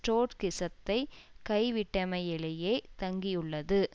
ட்ரொட்ஸ்கிசத்தை கைவிட்டமையிலேயே தங்கியுள்ளது